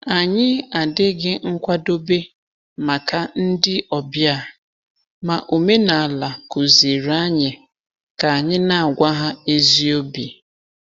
Anyị adịghị nkwadobe maka ndị ọbịa, ma omenala kụziiri anyị ka anyị na-agwa ha ezi obi.